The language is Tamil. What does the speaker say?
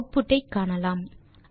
ஆட்புட் ஐ காணலாம்